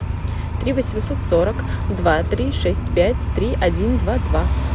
три восемьсот сорок два три шесть пять три один два два